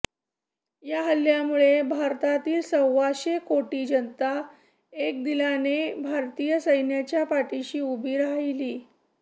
या हल्ल्यामुळे भारतातील सव्वाशे कोटी जनता एकदिलाने भारतीय सैनिकांच्या पाठीशी उभी राहिली